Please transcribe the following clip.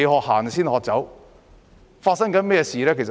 香港正在發生甚麼事呢？